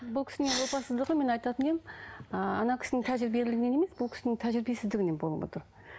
бұл кісінің опасыздығы мен айтатын едім ыыы кісінің тәжірибелігінен емес бұл кісінің тәжірибесіздігінен болып отыр